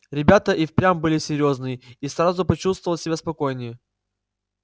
ребята и впрямь были серьёзные я сразу почувствовал себя спокойнее